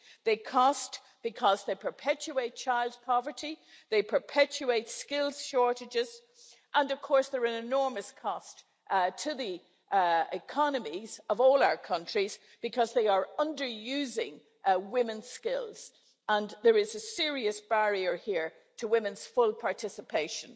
They cost because they perpetuate child poverty, they perpetuate skills shortages, and of course, there is an enormous cost to the economies of all our countries because they are underusing women's skills, and there is a serious barrier here to women's full participation.